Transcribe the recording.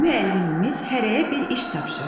Müəllimimiz hərəyə bir iş tapşırdı.